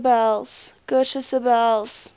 kursusse behels basiese